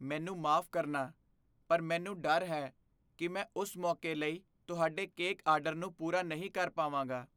ਮੈਨੂੰ ਮਾਫ਼ ਕਰਨਾ, ਪਰ ਮੈਨੂੰ ਡਰ ਹੈ ਕਿ ਮੈਂ ਉਸ ਮੌਕੇ ਲਈ ਤੁਹਾਡੇ ਕੇਕ ਆਰਡਰ ਨੂੰ ਪੂਰਾ ਨਹੀਂ ਕਰ ਪਾਵਾਂਗਾ।